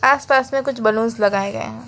आस पास में कुछ बैलून लगाए गए हैं।